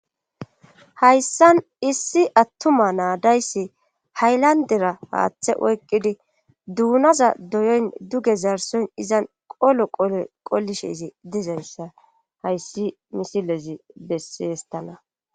Hayssan issi attuma naadayssi haylandera haaththe oyqqidi duunaza doyon duge zarson izan qolo qoqolishe izi dizayssa hayssi misilezi bessi yestana.